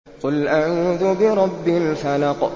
قُلْ أَعُوذُ بِرَبِّ الْفَلَقِ